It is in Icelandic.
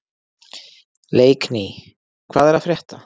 Leikný, hvað er að frétta?